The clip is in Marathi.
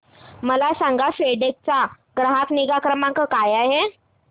मला सांगा फेडेक्स चा ग्राहक निगा क्रमांक काय आहे